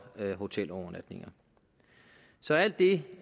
hotelovernatninger så alt det